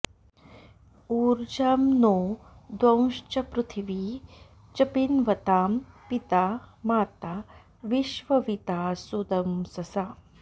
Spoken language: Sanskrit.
ऊर्जं॑ नो॒ द्यौश्च॑ पृथि॒वी च॑ पिन्वतां पि॒ता मा॒ता वि॑श्व॒विदा॑ सु॒दंस॑सा